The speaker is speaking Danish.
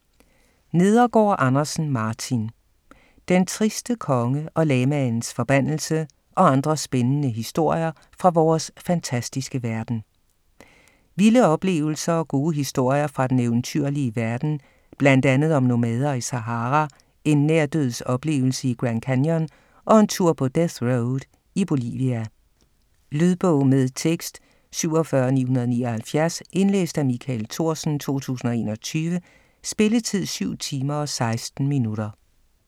Nedergaard Andersen, Martin: Den triste konge og lamaens forbandelse - og andre spændende historier fra vores fantastiske verden Vilde oplevelser og gode historier fra den eventyrlige verden. Bl.a. om nomader i Sahara, en nærdødsoplevelse i Grand Canyon og en tur på Death Road i Bolivia. Lydbog med tekst 47979 Indlæst af Michael Thorsen, 2021. Spilletid: 7 timer, 16 minutter.